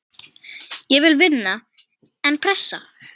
Ég vil vinna, en pressa?